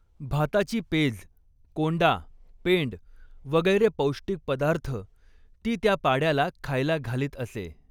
भाताची पेज, कोंडा, पेंड, वगैरे पौष्टिक पदार्थ ती त्या पाड्याला खायला घालीत असे.